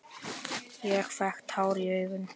Ég fékk tár í augun.